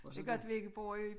Det godt vi ikke bor i